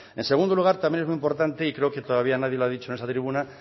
en segundo lugar también es muy importante y creo que todavía nadie lo ha dicho en esta tribuna